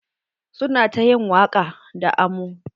Su na ta yin waƙa da amo.